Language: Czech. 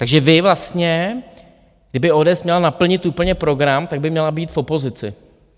Takže vy vlastně, kdyby ODS měla naplnit úplně program, tak by měla být v opozici.